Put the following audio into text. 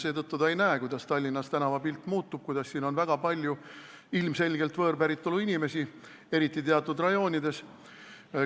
Seetõttu ei näe ta, kuidas Tallinna tänavapilt muutub, et siin on väga palju ilmselgelt võõrpäritolu inimesi, eriti teatud rajoonides.